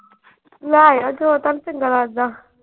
ਲੈ ਆ ਜੋ ਤੁਹਾਨੂੰ ਚੰਗਾ ਲਗਦਾ।